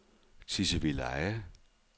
Tisvildeleje